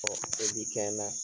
ko bi kɛ na